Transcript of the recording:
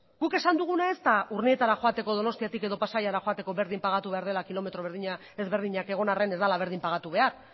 guk esan duguna ez da urnietara joateko donostiatik edo pasaiara joateko berdin pagatu behar dela kilometro ezberdinak egon arren ez dela berdin pagatu behar